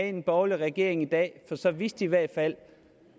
en borgerlig regering i dag for så vidste man i hvert fald